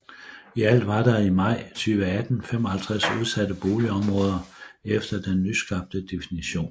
I alt var der i maj 2018 55 udsatte boligområder efter den nyskabte definition